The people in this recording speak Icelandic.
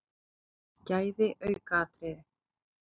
Gæði aukaatriði?